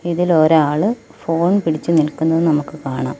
ഇതില് ഒരാള് ഫോൺ പിടിച്ച് നിൽക്കുന്നത് നമുക്ക് കാണാം.